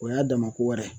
O y'a dama ko wɛrɛ ye